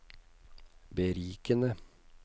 berikende